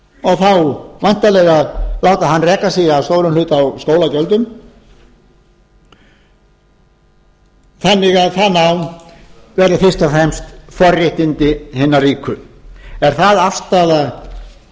og þá væntanlega láta það reka sig að stórum hluta á skólagjöldum þannig að það nám verði fyrst og fremst forréttindi hinna ríku er það afstaða